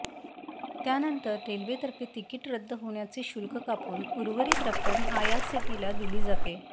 त्यानंतर रेल्वेतर्फे तिकीट रद्द होण्याचे शुल्क कापून उर्वरित रक्कम आयआरसीटीसीला दिली जाते